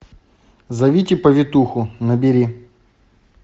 зовите повитуху набери